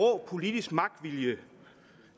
politisk magtvilje